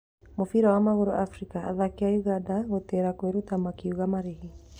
Mũbira wa magũrũ Afrika: athaki a Ũganda gũtĩra kwĩruta makiuga marĩhi.